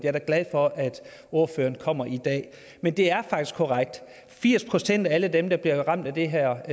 er da glad for at ordføreren kommer i dag men det er faktisk korrekt firs procent af alle dem der bliver ramt af det her